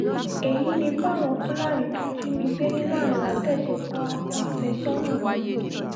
èyí ni bí àwọn fúlàní tó jí mi gbé ní lánlàtẹ̀ ṣe pa ọkọ̀ àfẹ́sọ́nà mi